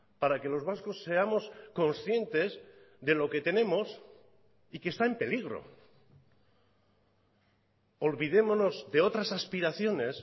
para que los vascos seamos conscientes de lo que tenemos y que está en peligro olvidémonos de otras aspiraciones